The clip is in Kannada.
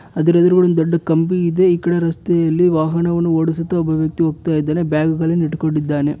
ಅದರ ಎದುರುಗಡೆ ಒಂದು ದೊಡ್ಡ ಕಂಬಿ ಇದೆ ಈ ಕಡೆ ರಸ್ತೆಯಲ್ಲಿ ವಾಹನವನ್ನು ಓಡಿಸುತ್ತಾ ಒಬ್ಬ ವ್ಯಕ್ತಿ ಹೋಗ್ತಾ ಇದಾನೆ ಬ್ಯಾಗುಗಳ್ಳನ್ನು ಇಟ್ಕೊಂಡಿದ್ದಾನೆ.